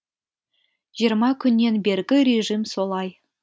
жиырма күннен бергі режим солай